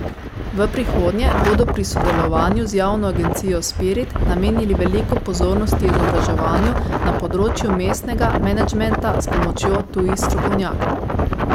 V prihodnje bodo pri sodelovanju z javno agencijo Spirit namenili veliko pozornosti izobraževanju na področju mestnega menedžmenta s pomočjo tujih strokovnjakov.